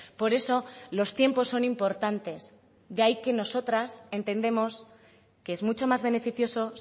por eso los tiempos son importantes de ahí que nosotras entendemos que es mucho más beneficioso